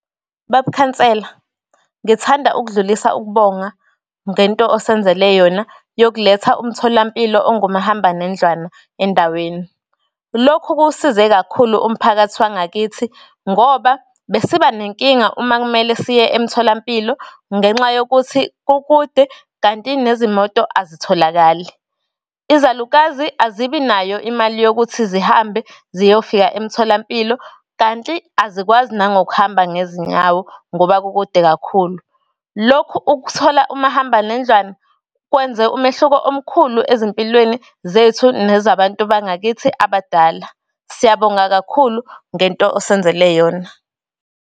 Baba Khansela, ngithanda ukudlulisa ukubonga ngento osenzele yona yokuletha umtholampilo ongumahambanendlwana endaweni. Lokhu kuwusize kakhulu umphakathi wangakithi, ngoba bese siba nenkinga uma kumele siye emtholampilo ngenxa yokuthi kukude kanti nezimoto azitholakali. Izalukazi azibi nayo imali yokuthi zihambe ziyofika emtholampilo kanti azikwazi nangokuhamba ngezinyawo ngoba kukude kakhulu. Lokhu ukuthola umahambanendlwana kwenze umehluko omkhulu ezimpilweni zethu nezabantu bangakithi abadala. Siyabonga kakhulu ngento osenzele yona.